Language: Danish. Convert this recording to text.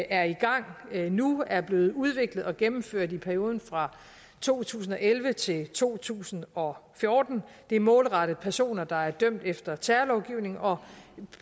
er i gang nu er blevet udviklet og gennemført i perioden fra to tusind og elleve til to tusind og fjorten det er målrettet personer der er dømt efter terrorlovgivningen og